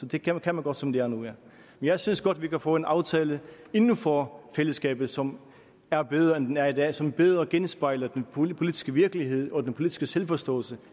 det kan man godt som det er nu men jeg synes godt at vi kan få en aftale inden for fællesskabet som er bedre end den er i dag og som bedre genspejler den politiske virkelighed og den politiske selvforståelse